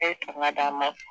Ne d'a ma